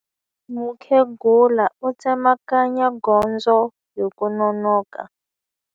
Mukhegula u tsemakanya gondzo hi ku nonoka.